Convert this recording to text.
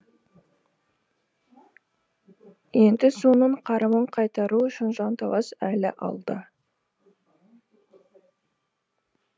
енді соның қарымын қайтару үшін жанталас әлі алда